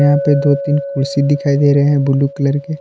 यहां पे दो तीन कुर्सी दिखाई दे रहे हैं ब्लू कलर के।